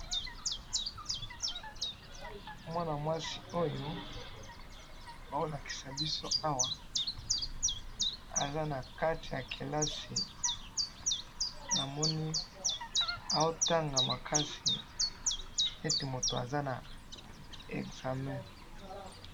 Mwana mwasi oyo bazo lakisa biso awa, aza nakati ya kelasi, namoni azo tanga makasi neti mutu aza na examen.